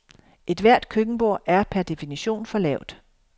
Ethvert køkkenbord er per definition for lavt.